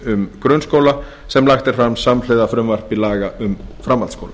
um grunnskóla sem lagt er til samhliða frumvarpi til laga um framhaldsskóla